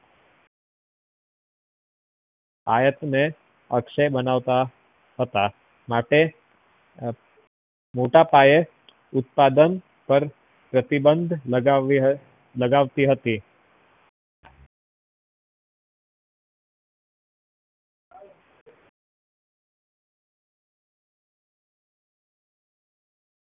આયાત ને અક્ષય બનાવતા હતા માટે મોટા પાયે ઉત્પાદન પર પ્રતિબંદ લગાવતી હતી